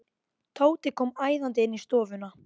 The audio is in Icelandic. Tóti kom æðandi inn í stofuna.